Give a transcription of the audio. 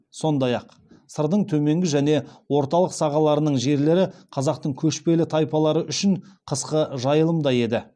сондай ақ сырдың төменгі және орталық сағаларының жерлері қазақтың көшпелі тайпалары үшін қысқы жайылым да еді